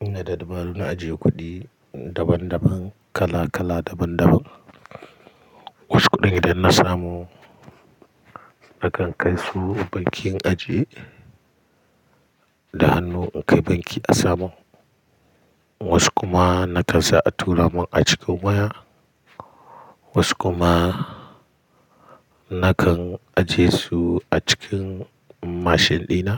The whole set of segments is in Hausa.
Ina da dabaru na ajiye kuɗi daban-daban, kala kala daban-daban. Wassu kuɗin idan na samu nakan kai su bankin in ajiye da hannu in kai banki a samun. Wasu kuma na kansa a tura mun a cikin waya. Wasu kuma nakan ajiye su a cikin mashin ɗina.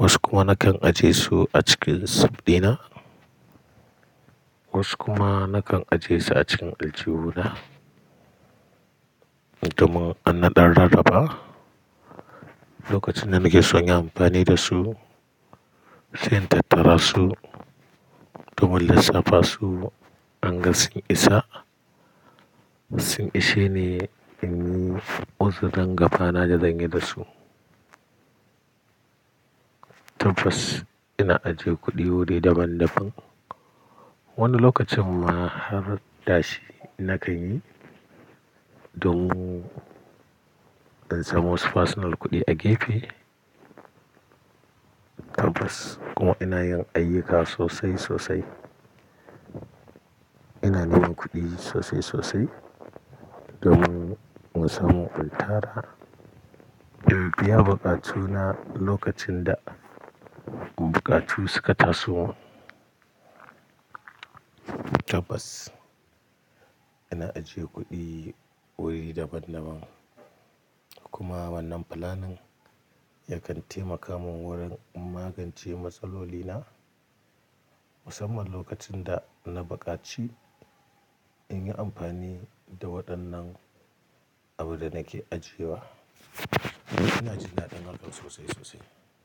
Wasu kuma nakan ajiye su a cikin sif ɗina. Wasu kuma nakan ajiye su a cikin aljihu na domin an naɗa rarraba lokacin da nake son yin amfani da su, sai in tattara su domin lissafa su in ga sun isa. Sun ishe ne in yi uzurin gabana da zanyi da su. Tabbas ina ajiye kuɗi wuri daban-daban. Wani lokacin ma har dashi na kanyi don in samu wasu personal kuɗi a gefe. Tabas kuma ina yin ayyuka sosai sosai. Ina neman kuɗi sosai sosai domin in samu in tara in biya buƙatu na lokacin da buƙatu suka taso. Tabas ina ajiye kuɗi wuri daban-daban. Kuma wannan fulanin yakan taimaka mun wurin magance matsaloli na, musamman lokacin da na buƙaci in yi amfani da waɗannan abin da nake ajiyewa. Ina ji daɗin hakan sosai sosai.